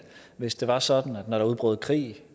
hvis det var sådan at når der udbrød krig